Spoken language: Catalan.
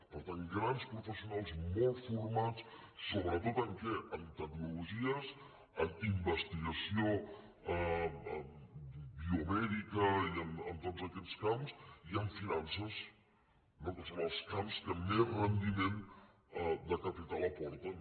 per tant grans professionals molt formats sobretot en què en tecnologies en investigació biomèdica i en tots aquests camps i en finances no que són els camps que més rendiment de capital aporten